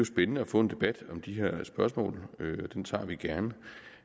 spændende at få en debat om de her spørgsmål den tager vi gerne